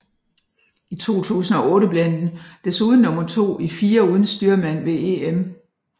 I 2008 blev han desuden nummer to i firer uden styrmand ved EM